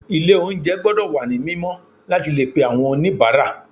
Ilé oúnjẹ gbọ́dọ̀ wà ní mímọ́ láti le pe àwọn oníbàárà.